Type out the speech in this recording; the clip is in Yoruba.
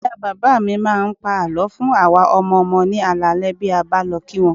Ìyá bàbá mi máa ń pa àlọ́ fún àwa ọmọ ọmọ ní alaalẹ́ bí a bá lọ kí wọn